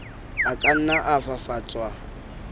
a ka nna a fafatswa